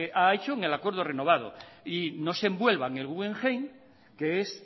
ha hecho en el acuerdo renovado y no se envuelva en el guggenheim que es